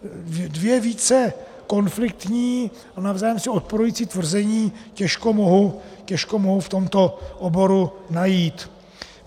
Dvě více konfliktní a navzájem si odporující tvrzení těžko mohu v tomto oboru najít.